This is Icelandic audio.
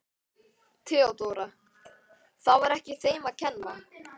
THEODÓRA: Það var ekki þeim að kenna.